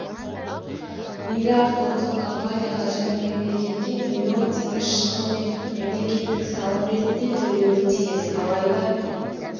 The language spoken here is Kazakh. миллиард ұлттық компанияға және мемлекетке миллион теңге шығын мен мемлкеттік салым ретінде төлеуі тиіс алайда